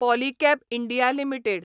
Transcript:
Polycab India limited